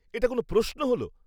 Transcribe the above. এটা কোনও প্রশ্ন হল!